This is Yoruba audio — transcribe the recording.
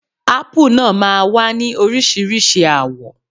Ápù náà máa wá ní Oríṣiríṣi àwọ̀.